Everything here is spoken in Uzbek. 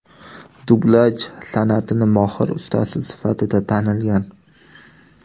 Dublyaj san’atining mohir ustasi sifatida tanilgan.